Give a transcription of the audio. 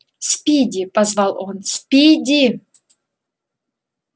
спиди позвал он спиди